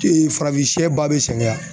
Ee farafinsɛ ba be sɛgɛn a